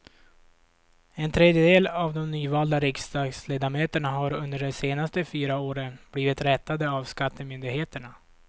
En tredjedel av de nyvalda riksdagsledamöterna har under de senaste fyra åren blivit rättade av skattemyndigheterna.